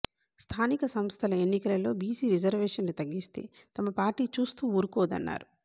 స్థానిక సంస్థల ఎన్నికలలో బిసి రిజర్వేషన్లు తగ్గిస్తే తమ పార్టీ చూస్తూ ఉరుకోదన్నారు